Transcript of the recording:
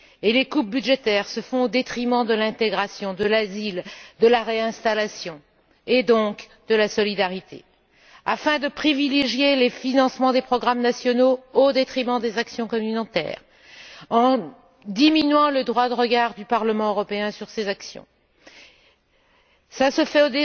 Les coupes budgétaires se font au détriment de l'intégration, de l'asile, de la réinstallation et donc de la solidarité, afin de privilégier les financements des programmes nationaux au détriment des actions communautaires, en diminuant le droit de regard du Parlement européen sur ces actions. Cela se fait